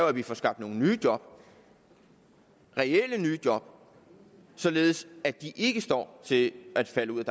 at vi får skabt nogle nye job reelle nye job således at de ikke står til at falde ud